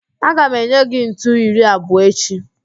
Aga m enye gị ntu iri abụọ echi